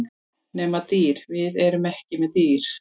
Nema dýr, við erum ekki með dýr.